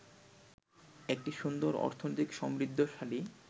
একটি সুন্দর অর্থনৈতিক সমৃদ্ধশালী